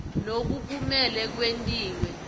loku kumele kwentiwe